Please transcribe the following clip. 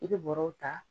I bɛ bɔrɛw ta